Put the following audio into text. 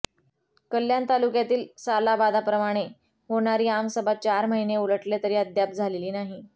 कल्याण तालुक्यातील सालाबाद प्रमाणे होणारी आमसभा चार महिने उलटले तरी अद्याप झालेली नाही